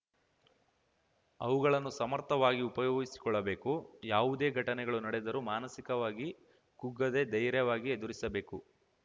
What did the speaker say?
ಅವುಗಳನ್ನು ಸಮರ್ಥವಾಗಿ ಉಪಯೋಗಿಸಿಕೊಳ್ಳಬೇಕು ಯಾವುದೇ ಘಟನೆಗಳು ನಡೆದರೂ ಮಾನಸಿಕವಾಗಿ ಕುಗ್ಗದೇ ಧೈರ್ಯವಾಗಿ ಎದುರಿಸಬೇಕು